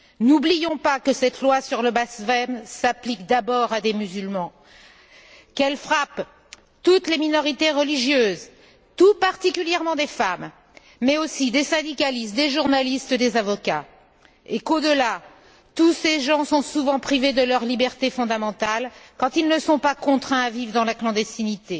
N'oublions que cette loi sur le blasphème s'applique d'abord à des musulmans, qu'elle frappe toutes les minorités religieuses, tout particulièrement des femmes, mais aussi des syndicalistes, des journalistes, des avocats, et qu'au delà, tous ces gens sont souvent privés de leurs libertés fondamentales quand ils ne sont pas contraints à vivre dans la clandestinité.